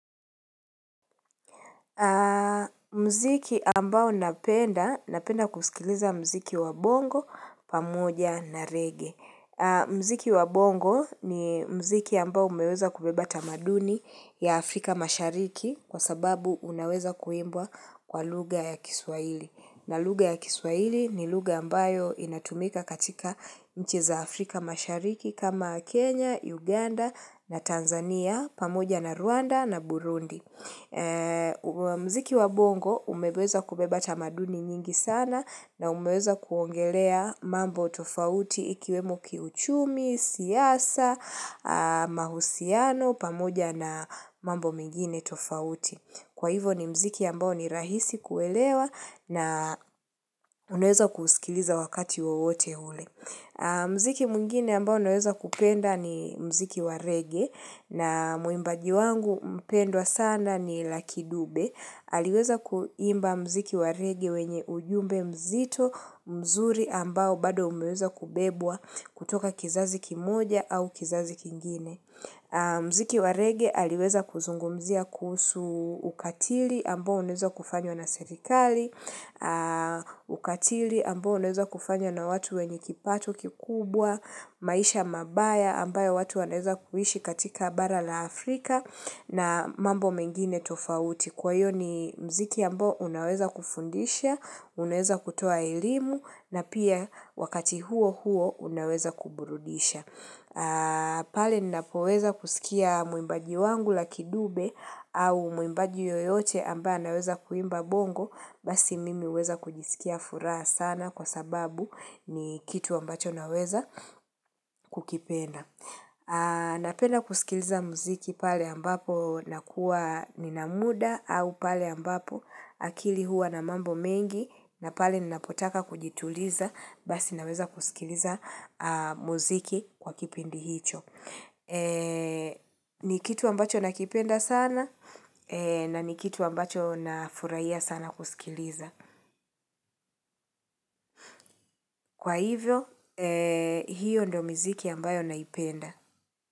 Mziki ambao napenda, napenda kusikiliza muziki wa bongo, pamoja na reggae. Muziki wa bongo ni mziki ambao umeweza kubeba tamaduni ya Afrika mashariki kwa sababu unaweza kuimbwa kwa lugha ya kiswahili. Na lugha ya kiswaili ni lugha ambayo inatumika katika nchi za Afrika mashariki kama Kenya, Uganda na Tanzania pamoja na Rwanda na Burundi. Muziki wa bongo umeweza kubeba tamaduni nyingi sana na umeweza kuongelea mambo tofauti ikiwemo kiuchumi, siyasa, mahusiano, pamoja na mambo mengine tofauti. Kwa hivo ni muziki ambao ni rahisi kuelewa na unaweza kuusikiliza wakati wowote ule Muziki mwngine ambao naweza kupenda ni mziki wa reggae na mwimbaji wangu mpendwa sana ni Lucky Dube. Aliweza kuimba muziki wa reggae wenye ujumbe mzito mzuri ambao bado umeweza kubebwa kutoka kizazi kimoja au kizazi kingine. Muziki wa reggae aliweza kuzungumzia kuhusu ukatili ambao unaweza kufanywa na serikali Ukatili ambao unaweza kufanywa na watu wenye kipato kikubwa maisha mabaya ambayo watu wanaeza kuishi katika bara la Afrika na mambo mengine tofauti kwa hiyo ni muziki ambao unaweza kufundisha Unaweza kutoa elimu na pia wakati huo huo unaweza kuburudisha pale ninapoweza kusikia mwimbaji wangu Lucky Dube au mwimbaji yoyote ambaye anaweza kuimba bongo Basi mimi huweza kujisikia furaha sana kwa sababu ni kitu ambacho naweza kukipenda. Napenda kusikiliza muziki pale ambapo nakuwa nina muda au pale ambapo akili huwa na mambo mengi na pale ninapotaka kujituliza Basi naweza kusikiliza muziki kwa kipindi hicho ni kitu ambacho nakipenda sana na ni kitu ambacho na furahia sana kusikiliza Kwa hivyo, hiyo ndo miziki ambayo naipenda.